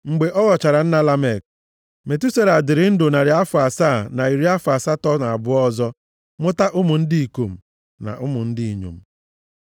Mgbe ọ ghọchara nna Lamek, Metusela dịrị ndụ narị afọ asaa na iri afọ asatọ na abụọ ọzọ mụta ụmụ ndị ikom na ụmụ ndị inyom.